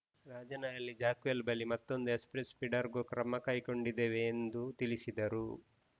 Rajanahalli jackwell ಬಳಿ ಮತ್ತೊಂದು express ಫೀಡರ್‌ಗೂ ಕ್ರಮ ಕೈಗೊಂಡಿದ್ದೇವೆ ಎಂದು ತಿಳಿಸಿದರು